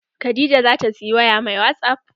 Khadijah zata siyi waya mai wasup.